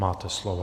Máte slovo.